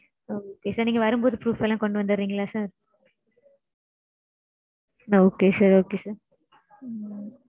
Okay sir. நீங்க வரும்போது proof எல்லாம் கொண்டு வந்துடறீங்களா sir? Okay sir Okay sir உம்